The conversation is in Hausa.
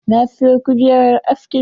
Na siyo kujerar askin.